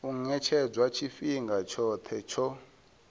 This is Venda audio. u ṅetshedzwa tshifhinga tshoṱhe tsho